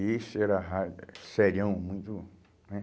Esse era eh sérião, muito, né?